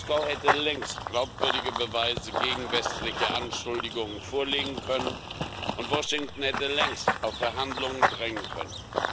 Moskau hätte längst glaubwürdige Beweise gegen westliche Anschuldigungen vorlegen können, und Washington hätte längst auf Verhandlungen drängen können.